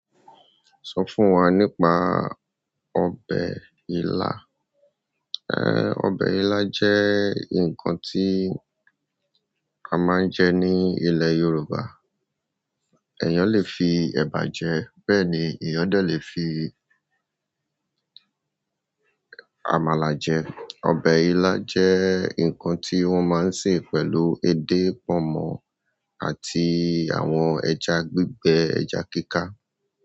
Sọ fún wa nípa ọbẹ̀ ila. Ẹ̀, ọbẹ̀ ila jẹ́ ǹkan tí a máa ń jẹ ní ilẹ̀ Yorùbá. Ẹ̀yàn lè fi ẹ̀bà jẹ bẹ́ẹ̀ ni ìyan dẹ̀ lè fi àmàlà jẹ. Ọbẹ̀ ila jẹ́ ǹkan tí wọ́n máa ń sè pẹ̀lú edé pọnmọ àti àwọn ẹja gbígbẹ ẹja kíká.